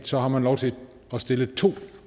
så har man lov til at stille to